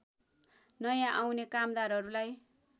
नयाँ आउने कामदारहरूलाई